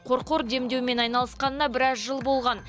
қорқор демдеумен айналысқанына біраз жыл болған